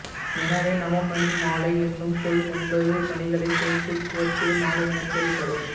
எனவே நவமணிமாலை என்னும் சொல் ஒன்பது மணிகளைச் சேர்த்துக் கோர்த்த மாலை எனப் பொருள்படும்